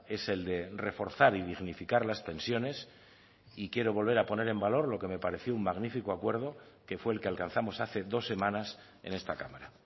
es el de reforzar y dignificar las pensiones y quiero volver a poner en valor lo que me pareció un magnífico acuerdo que fue el que alcanzamos hace dos semanas en esta cámara